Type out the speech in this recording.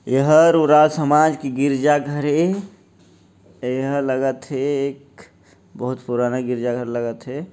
ऐ हर उराव समाज के गिरजा घर ऐ ऐ हा लगत हे एक बहुत पुराना गिरजा घर लगत हे।